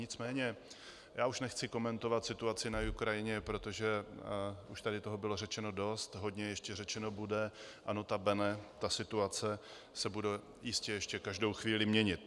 Nicméně já už nechci komentovat situaci na Ukrajině, protože už tady toho bylo řečeno dost, hodně ještě řečeno bude a nota bene, ta situace se bude jistě ještě každou chvíli měnit.